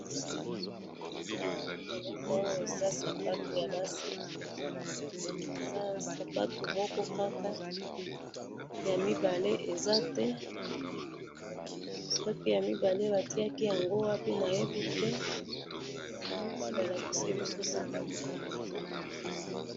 Namoni eloko oyo eza sapatu yabasi, eza sapato moko kaka, yamibale eza te, soki yamibale batiyaki yango wapi nayebite, namoni balakisi biso sapato moko kaka.